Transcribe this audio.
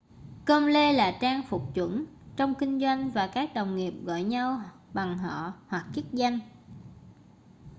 com-lê là trang phục chuẩn trong kinh doanh và các đồng nghiệp gọi nhau bằng họ hoặc chức danh